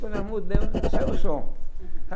Quando nós mudamos, já saiu o som.